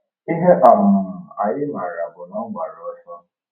Ihe um anyị maara bụ na ọ gbara ọsọ.